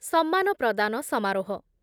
ସମ୍ମାନ ପ୍ରଦାନ ସମାରୋହ